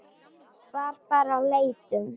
Við bara leitum.